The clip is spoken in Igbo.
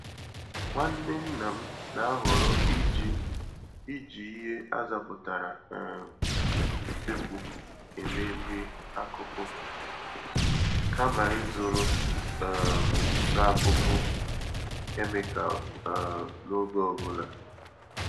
Nwanne nna m na-ahọrọ iji iji ihe azapụtara um n'usekwu eme nri-akụkụ kama ịzụrụ um ntụakuku kemịkal um n'oge ọ bụla.